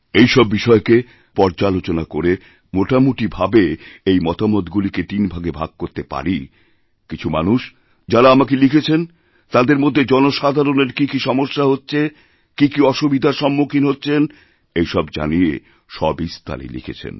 এই সব বিষয়কে আমি যখনপর্যালোচনা করে মোটামুটি ভাবে এই মতামতগুলোকে তিন ভাগে ভাগ করতে পারি কিছু মানুষযাঁরা আমাকে লিখেছেন তাঁদের মধ্যে জনসাধারণের কি কি সমস্যা হচ্ছে কি কি অসুবিধারসম্মুখীন হচ্ছেন এই সব জানিয়ে সবিস্তারে লিখেছেন